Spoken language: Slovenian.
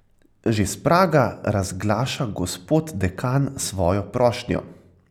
Že s praga razglaša gospod dekan svojo prošnjo.